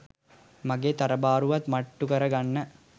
මගේ තරබාරුවත් මට්ටු කර ගන්න.